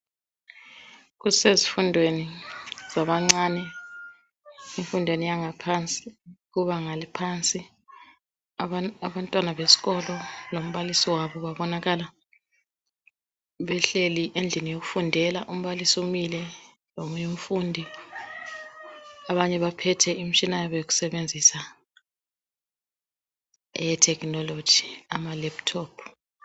Kusezifundweni zabancane, emfundweni yangaphansi, kubanga eliphansi. Abantwana besikolo lombalisi wabo babonakala behleli endlini yokufundela. Umbalisi umile, lomunye umfundi. Abanye baphethe imitshina yabo yokusebenzisa. Eyetechnology, amalaptop.